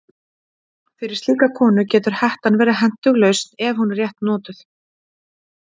Fyrir slíka konu getur hettan verið hentug lausn ef hún er rétt notuð.